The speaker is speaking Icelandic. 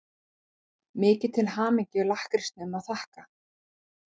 Mikið til hamingju-lakkrísnum að þakka.